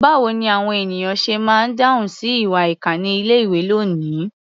Báwo ni àwọn ènìyàn ṣe máa ń dáhùn sí ìwà ìkà ní ilé-ìwé lónìí?